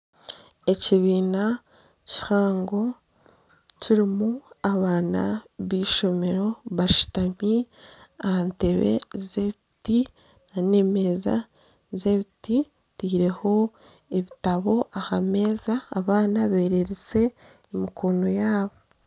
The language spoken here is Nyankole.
Ekibiina kihango kirimu abaana b'eishomero bashutami aha ntebe z'ebiti nana emeeza z'ebiti zitireho ebitabo aha meeza abaana bererize emikono yaabo.